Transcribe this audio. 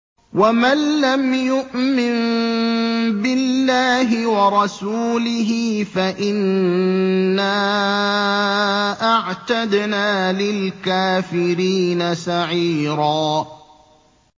وَمَن لَّمْ يُؤْمِن بِاللَّهِ وَرَسُولِهِ فَإِنَّا أَعْتَدْنَا لِلْكَافِرِينَ سَعِيرًا